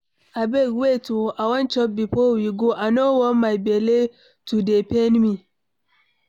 Abeg wait oo, I wan chop before we go, I no wan my bele to dey pain me.